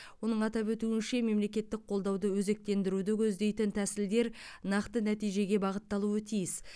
оның атап өтуінше мемлекеттік қолдауды өзектендіруді көздейтін тәсілдер нақты нәтижеге бағытталуы тиіс